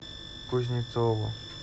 кузнецову